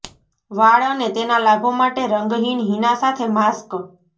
વાળ અને તેના લાભો માટે રંગહીન હીના સાથે માસ્ક